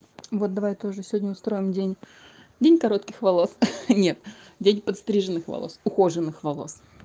вот давай тоже сегодня устроим день день коротких волос нет день подстриженных волос ухоженных волос